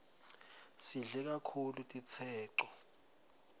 sidle kaktulu titseco